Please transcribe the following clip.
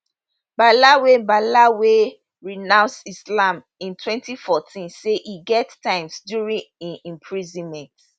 bala wey bala wey renounce islam in 2014 say e get times during im imprisonment